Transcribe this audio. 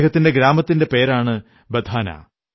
അദ്ദേഹത്തിന്റെ ഗ്രാമത്തിന്റെ പേരാണ് ബധാനാ